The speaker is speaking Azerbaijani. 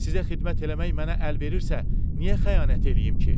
Sizə xidmət eləmək mənə əl verirsə, niyə xəyanət eləyim ki?